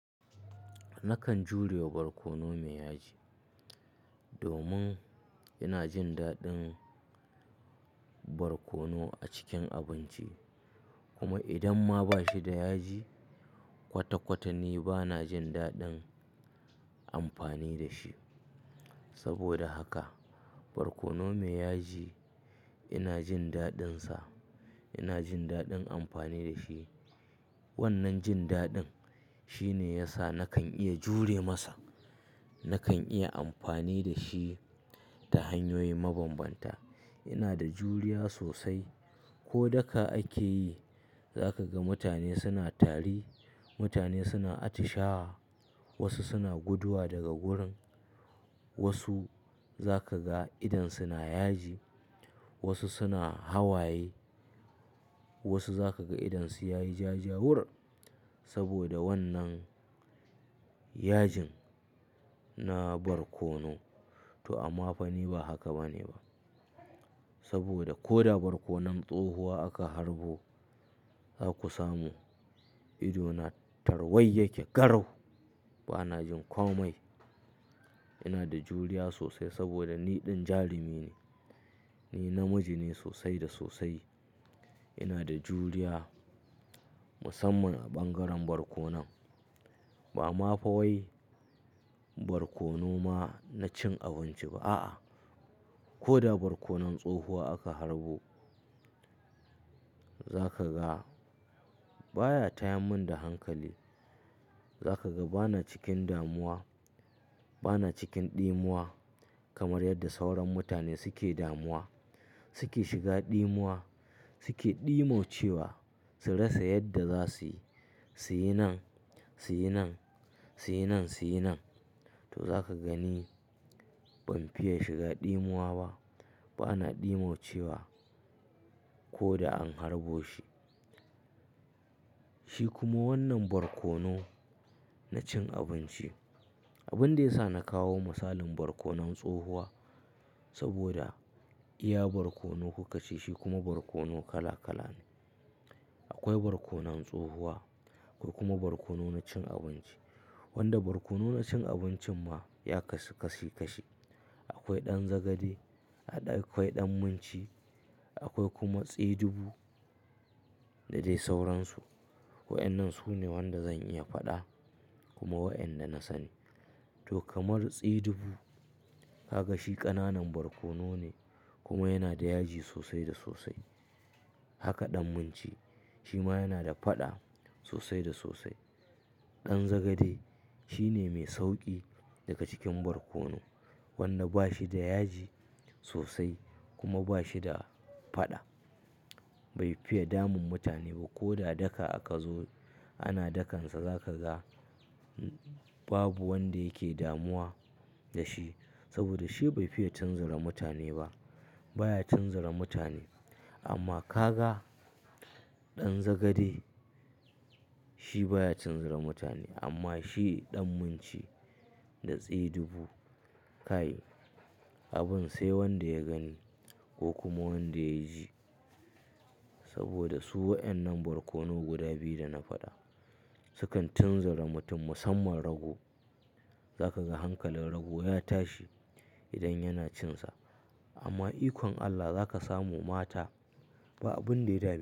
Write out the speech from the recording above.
Nakan jure barkono mai yaji domin ina jin daɗin barkono a cikin abinci. Kuma idan ma ba shi da yaji kwata-kwata ni ba na jin daɗin amfani da shi. Saboda haka barkono mai yaji ina jin daɗinsa, ina jin daɗin amfani da shi. Wannan jin daɗin shine yasa nakan iya jure masa. Nakan iya amfani da shi ta hanyoyi mabanbanta. Ina da juriya sosai. Ko daka ake yi, za ka ga mutane suna tari, mutane suna atishawa, wasu suna guduwa daga wurin, wasu za ka ga idan suna yaji, wasu suna hawaye, wasu za ka ga idan su yayi ja-jawur saboda wannan yajin na barkono. To amma fa ni ba haka bane ba. Saboda ko da barkonon tsohuwa aka harbo za ku samu ido na tarwai yake garau. Ba na jin ƙomai. Ina da juriya sosai saboda ni ɗin jarumi ne. Ni namiji ne sosai da sosai. Ina da juriya musamman a bangaren barkono. Ba amma fa wai barkono ma na cin abinci ba. A'a, ko da barkonon tsohuwa aka harbo za ka ga baya tayamin da hankali. Za ka ga ba na cikin damuwa, ba na cikin ɗimuwa kamar yadda sauran mutane suke damuwa. Suke shiga ɗimuwa, suke ɗimau cewa su rasa yadda za su yi. Su yi nan, su yi nan, su yi nan, su yi nan. To za ka gani ban fiye shiga ɗimuwa ba. Ba na ɗimau cewa ko da an harbo shi. Shi kuma wannan barkono na cin abinci. Abin da ya sa na kawo misalin barkonon tsohuwa saboda iya barkono kuka ce shi kuma barkono kala kala ne. Akwai barkonon tsohuwa akwai kuma barkono na cin abinci. Wanda barkono na cin abincin ma ya kasi-kasi-kashi. Akwai ɗan zagade, akwai ɗan munci, akwai kuma tsiɗubu da dai sauransu. Wa'ennan su ne wanda zan iya faɗa kuma wa'inda na sani. To kamar tsiɗubu, ka ga shi ƙananan barkono ne kuma yana da yaji sosai da sosai. Haka ɗan munci shi ma yana da faɗa sosai da sosai. Ɗan zagade shi ne mai sauƙi daga cikin barkono wanda ba shi da yaji sosai kuma ba shi da faɗa. Bai fiye damun mutane. Ko da daka aka zo ana dakansa za ka ga babu wanda yake damuwa da shi saboda shi bai fiye tunzara mutane ba. Ba ya tunzara mutane. Amma ka ga ɗan zagade shi baya tunzara mutane amma shi ɗan munci da tsiɗubu kai abin sai wanda ya gani ko kuma wanda ya ji. Saboda su wa'ennan barkono guda biyu da na faɗa su kan tunzara mutum musamman rago. Za ka ga hankalin rago ya tashi idan yana cinsa. Amma ikon Allah za ka samu mata ba abin da ya dame.